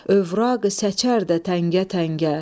övraqı səçər də təngə-təngə.